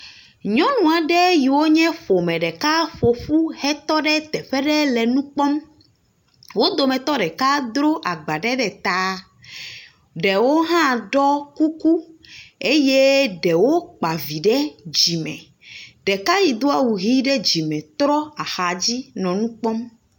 Nyɔnu aɖe yiwo nye ƒome ɖeka ƒo ƒu hetɔ ɖe teƒe ɖe le nu kpɔm. Wo dometɔ ɖeka dro agba ɖe ɖe ta, Ɖewo hã ɖɔ kuku eye ɖewo kpa vi ɖe dzime. Ɖeka yi do awu ʋi ɖe dzime trɔ ahadzi lenu kpɔm.